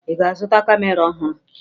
Ị ga-azụta kamera ọhụrụ?